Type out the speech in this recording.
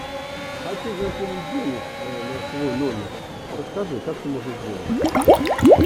хочу закинуть денег на свой номер расскажи как это можно сделать